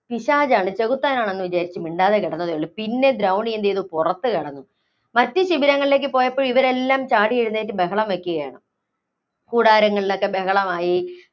പിശാചാണ്, ചെകുത്താനാണെന്ന് വിചാരിച്ച് മിണ്ടാതെ കിടന്നതേ ഉള്ളൂ. പിന്നെ ദ്രൗണി എന്ത് ചെയ്തു? പുറത്ത് കടന്നു. മറ്റ് ശിബിരങ്ങളിലേക്ക് പോയപ്പോ ഇവരെല്ലാം ചാടിയെഴുന്നേറ്റ് ബഹളം വയ്ക്കുകയാണ്. കൂടാരങ്ങളിലൊക്കെ ബഹളമായി.